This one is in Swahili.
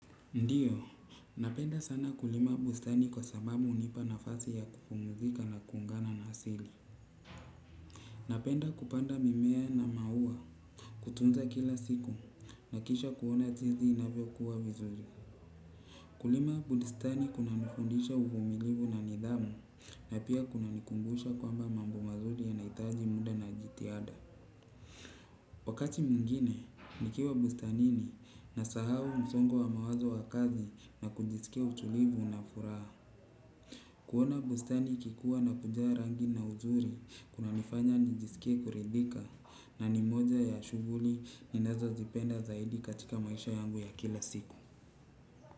Ndiyo, napenda sana kulima bustani kwa sababu hunipa nafasi ya kupumzika na kuungana na asili. Napenda kupanda mimea na maua kutunza kila siku na kisha kuona jinsi inavyo kuwa vizuri. Kulima bustani kuna nifundisha uvumilivu na nidhamu na pia kuna nikumbusha kwamba mambo mazuri yanahitaji muda na jitihada. Wakati mwingine, nikiwa bustanini nasahau msongo wa mawazo wa kazi na kujisikia utulivu na furaha. Kuona bustani ikikua na kujaa rangi na uzuri, kuna nifanya nijisikie kuridhika na ni moja ya shughuli ninazo zipenda zaidi katika maisha yangu ya kila siku.